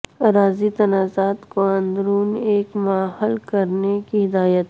اراضی تنازعات کو اندرون ایک ماہ حل کرنے کی ہدایت